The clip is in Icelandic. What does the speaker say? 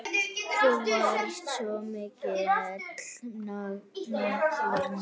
Þú varst svo mikill nagli.